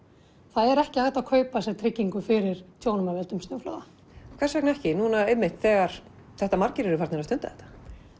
það er ekki hægt að kaupa sér tryggingu fyrir tjónum af völdum snjóflóða hvers vegna ekki núna þegar margir eru farnir að stunda þetta